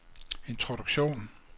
introduktion